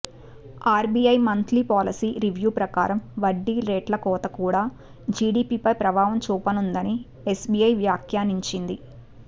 RBI monthly policy review ప్రకారం వడ్డీ రేట్ల కోత కూడా జీడీపీపై ప్రభావం చూపనుందని ఎస్బీఐ వాఖ్యానించింది